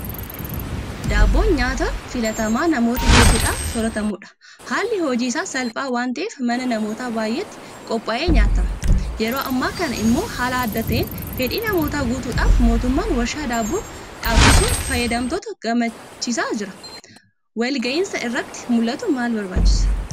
Daabboon nyaata filatamaa namoota hedduudhaan soorratamudha. Haalli hojii isaas salphaa waanta'eef mana namoota baay'eetti qophaa'ee nyaatama. Yeroo ammaa kana immoo haala adda ta'een fedhii namootaa guutuudhaaf mootummaan Warshaa Daabboo dhaabsisuun fayyadamtoota gammachiisaa jira. Waliin gahinsa isaa irratti maaltu barbaachisa?